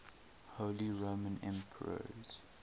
holy roman emperors